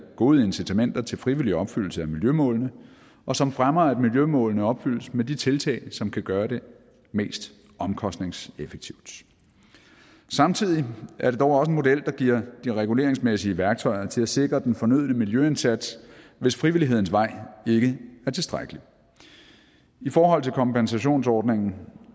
gode incitamenter til frivillig opfyldelse af miljømålene og som fremmer at miljømålene opfyldes med de tiltag som kan gøre det mest omkostningseffektivt samtidig er det dog også en model der giver de reguleringsmæssige værktøjer til at sikre den fornødne miljøindsats hvis frivillighedens vej ikke er tilstrækkelig i forhold til kompensationsordningen